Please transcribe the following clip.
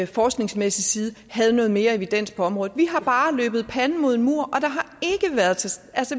forskningsmæssig side havde noget mere evidens på området vi har bare løbet panden mod en mur og